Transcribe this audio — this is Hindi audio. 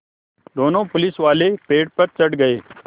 दोनों पुलिसवाले पेड़ पर चढ़ गए